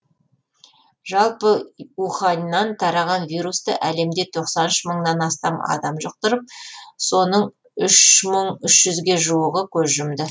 жалпы уханьнан тараған вирусты әлемде тоқсан үш мыңнан астам адам жұқтырып оның үш мың үш жүзге жуығы көз жұмды